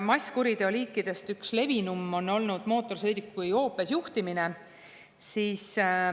Masskuriteo liikidest üks levinuim on olnud mootorsõiduki joobes juhtimine.